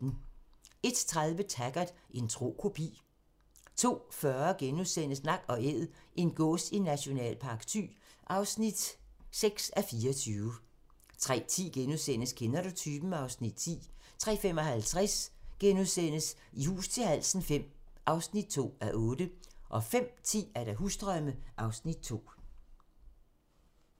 01:30: Taggart: En tro kopi 02:40: Nak & Æd - en gås i Nationalpark Thy (6:24)* 03:10: Kender du typen? (Afs. 10)* 03:55: I hus til halsen V (2:8)* 05:10: Husdrømme (Afs. 2)